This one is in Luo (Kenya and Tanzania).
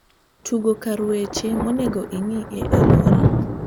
tugo kar weche monegi ing`e e luorwok